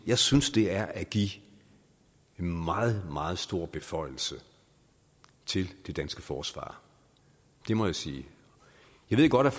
jeg synes det er at give en meget meget stor beføjelse til det danske forsvar det må jeg sige jeg ved godt